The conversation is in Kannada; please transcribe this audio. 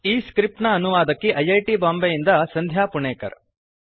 ಈ ಸ್ಕ್ರಿಪ್ಟ್ ನ ಅನುವಾದಕಿ ಐ ಐ ಟಿ ಬಾಂಬೆಯಿಂದ ಸಂಧ್ಯಾ ಪುಣೇಕರ್